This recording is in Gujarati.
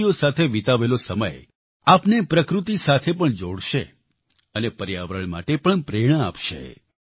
પક્ષીઓ સાથે વિતાવેલો સમય આપને પ્રકૃતિ સાથે પણ જોડશે અને પર્યાવરણ માટે પણ પ્રેરણા આપશે